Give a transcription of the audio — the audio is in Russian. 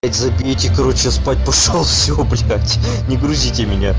заберите короче я спать пошёл всё блядь не грузите меня